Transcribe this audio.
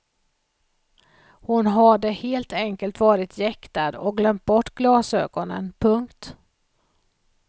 Hon hade helt enkelt varit jäktad och glömt bort glasögonen. punkt